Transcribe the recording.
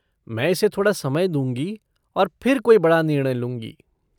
मैं इसे थोड़ा समय दूँगी और फिर कोई बड़ा निर्णय लूँगी।